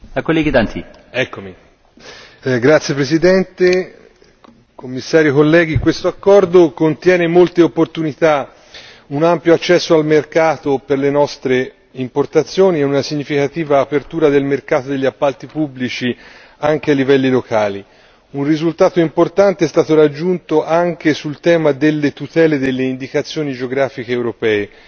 Signor Presidente, onorevoli colleghi, signor Commissario, questo accordo contiene molte opportunità un ampio accesso al mercato per le nostre importazioni e una significativa apertura del mercato degli appalti pubblici anche a livelli locali. Un risultato importante è stato raggiunto anche sul tema delle tutele delle indicazioni geografiche europee.